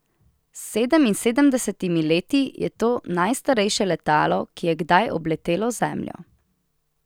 S sedeminsedemdesetimi leti je to najstarejše letalo, ki je kdaj obletelo Zemljo.